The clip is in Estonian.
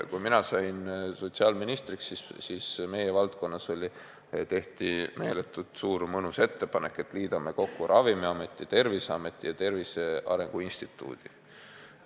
Kui ma sain sotsiaalministriks, siis meie valdkonnas tehti meeletult mõnus ettepanek, et liidame kokku Ravimiameti, Terviseameti ja Tervise Arengu Instituudi.